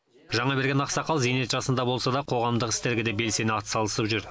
жаңаберген ақсақал зейнет жасында болса да қоғамдық істерге де белсене атсалысып жүр